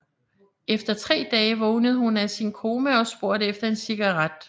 Efter tre dage vågnede hun af sin koma og spurgte efter en cigaret